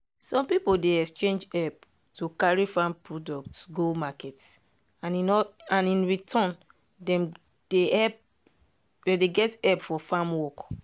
some people dey exchange help to carry farm products go market and in return dem dey get help for farm work.